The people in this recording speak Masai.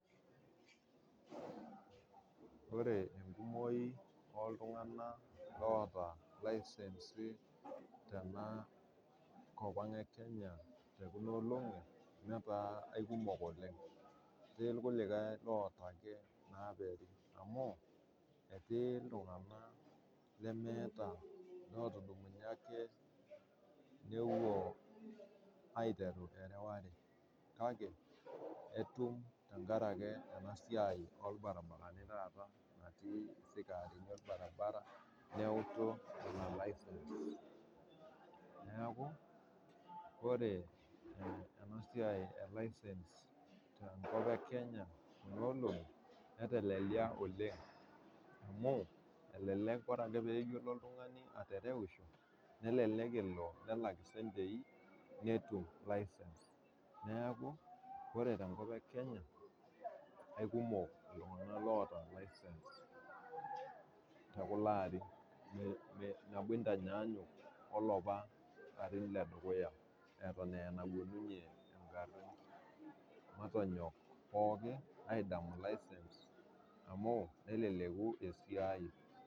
Ore enkumoi oltunganak oota lincensi tenakop ang e kenya tekuna olongi netaa aikumok oleng etii rkulikae oota eke amuetii ltunganak lemeta lotubulutua ake nepuo aiteru erewatakake itum tenkaraki enasiai orbaribarani natii engalo orbaribara neaku ore enasiai elicens kuno olengi netelelia oleng amu elelek ore ake payiolou oltungani atereusho nelek elobnelak ropiyani netum license neaku ore tenkop ekenya kekumok ltunganak oota licensi tekuli aarin nabo intanyayuk olaapa arin ledukuya latan ana enalotunge engari neaku matanyok pookin adamu licence amu neleleku esiai.